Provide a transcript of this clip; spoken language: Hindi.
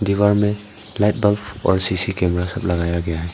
दीवार में लाइट बल्ब और सीसी कैमरा सब लगाया गया है।